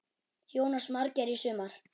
Jónas Margeir: Í sumar?